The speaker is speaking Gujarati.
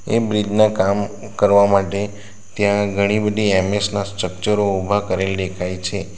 એ બ્રીજ ના કામ કરવા માટે ત્યાં ઘણી બધી એમ_એસ ના સ્ટ્રકચરો ઉભા કરેલ દેખાય છે.